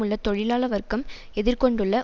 உள்ள தொழிலாள வர்க்கம் எதிர் கொண்டுள்ள